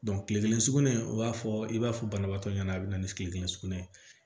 kile kelen sugunɛ o b'a fɔ i b'a fɔ banabaatɔ ɲɛna a be na ni sugunɛ sugunɛ ye